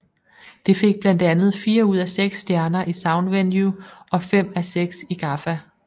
Det fik blandt andet fire ud af seks stjerner i Soundvenue og fem af seks i GAFFA